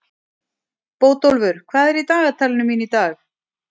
Bótólfur, hvað er í dagatalinu mínu í dag?